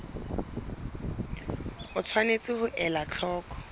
o tshwanetse ho ela hloko